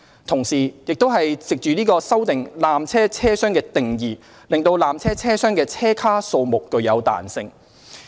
同時，亦藉此修訂"纜車車廂"的定義，令纜車車廂的車卡數目有彈性。